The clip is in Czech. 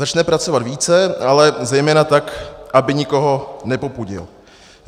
Začne pracovat více, ale zejména tak, aby nikoho nepopudil.